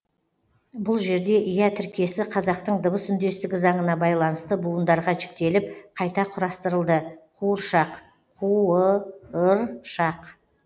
бұл жерде ия тіркесі қазақтың дыбыс үндестігі заңына байланысты буындарға жіктеліп қайта құрастырылды қуыршақ қуы ыр шақ